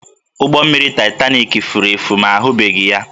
Ụgbọ mmiri Titanik furu efu ma ahụbeghị ya